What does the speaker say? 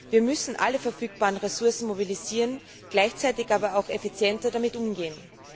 Wir müssen alle verfügbaren Ressourcen mobilisieren, gleichzeitig aber auch effizienter damit umgehen.